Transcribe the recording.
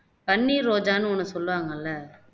பன்னீர் ரோஜான்னு ஒண்ணு சொல்லுவாங்கல்ல